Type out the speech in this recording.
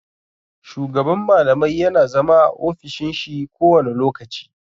Shugaban malamai yana zama a ofishin shi kowane lokaci.